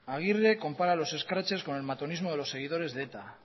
aguirre compara los scraches con el matonismo de los seguidores de eta